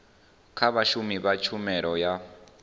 kha vhashumi vha tshumelo ya